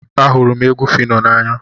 Ahụrụ m egwu Phyno n'anya